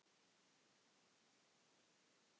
Þetta er frábær stóll.